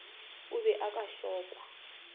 o be o ka šokwa